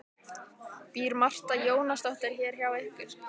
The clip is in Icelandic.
Býr Marta Jónasdóttir hér hjá ykkur?